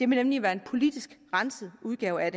nemlig være en politisk renset udgave af